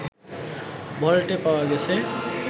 ভল্টে পাওয়া গেছে